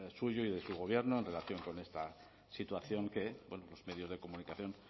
suyo y de su gobierno en relación con esta situación que los medios de comunicación